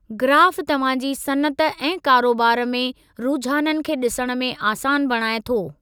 ग्राफ़ु तव्हां जी सनअत ऐं कारोबार में रुझाननि खे ॾिसण में आसान बणाई थो।